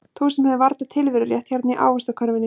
Þú sem hefur varla tilverurétt hérna í ávaxtakörfunni.